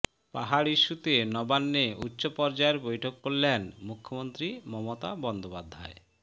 পাহাড় ইস্যুতে নবান্নে উচ্চপর্যায়ের বৈঠক করলেন মুখ্যমন্ত্রী মমতা বন্দ্যোপাধ্যায়